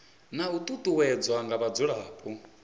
na u ṱuṱuwedzwa nga vhadzulapo